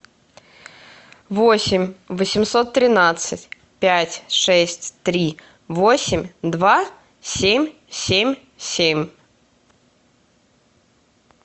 восемь восемьсот тринадцать пять шесть три восемь два семь семь семь